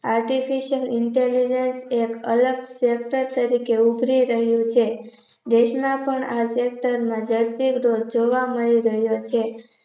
artificial intelligence એક અલગ sector તરીકે ઉભરી રહ્યું છે. દેશના પણ આ sector ના દરસીર ડોસ જોવા મળી રહ્યો છે.